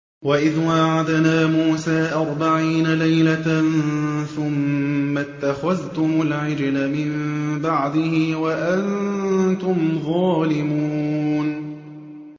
وَإِذْ وَاعَدْنَا مُوسَىٰ أَرْبَعِينَ لَيْلَةً ثُمَّ اتَّخَذْتُمُ الْعِجْلَ مِن بَعْدِهِ وَأَنتُمْ ظَالِمُونَ